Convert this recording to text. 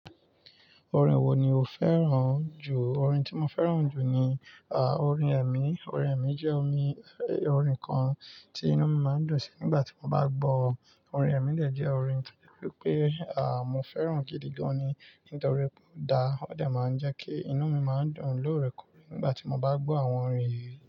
Orin wo ni o fẹ́ràn jù? Orin tí mo fẹ́ràn jù ni, à, orin ẹ̀mí. Orin ẹ̀mí jẹ́ omi, orin kan tí inú mi máa ń dùn sí nígbà tí mo bá gbọ́. Orin ẹ̀mí dè jẹ́ orin tí wípé, à, mo fẹ́ràn gidi gan-an ní nítorí ó dáa. Ó de máa ń jẹ́ kí inú mi máa dùn lóorekoore nígbà tí mo bá gbọ́ àwọn orin yìí.